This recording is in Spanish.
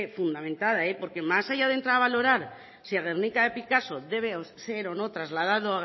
fundamentada porque más allá de entrar a valorar si el guernica de picasso debe ser o no trasladado